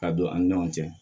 Ka don an ni ɲɔgɔn cɛ